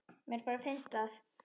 Mér bara finnst það.